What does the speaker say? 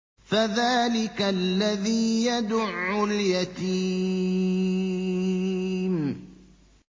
فَذَٰلِكَ الَّذِي يَدُعُّ الْيَتِيمَ